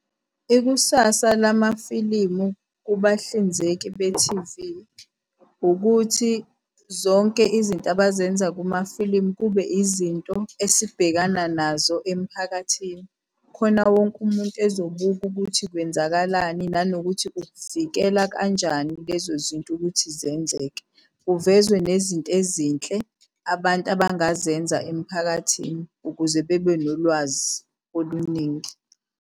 Ikusasa lamafilimu kubahlinzeki bethivi ukuthi zonke izinto abazenza kumafilimu kube izinto esibhekana nazo emiphakathini. Khona wonke umuntu bezobuka ukuthi kwenzakalani, nanokuthi ukuvikela kanjani lezo zinto ukuthi zenzeke, kuvezwe nezinto ezinhle abantu abangazenza emphakathini ukuze bebe nolwazi oluningi.